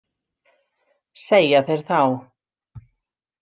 Segja þeir þá.